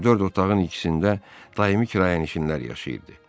Bu dörd otağın ikisində daimi kirayənişinlər yaşayırdı.